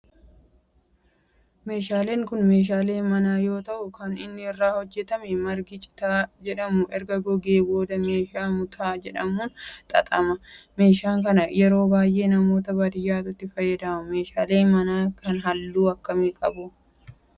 meeshaaleen kun meeshalee manaa yoo ta'u kan inni irraa hojjetame margi citaa jedhamu erga gogee booda meeshaa mutaa jedhamuun xaxama. meeshaa kana yeroo baayyee namoota baadiyaatu itti fayyadama. meeshaleen mana kun halluu akkamii qaba?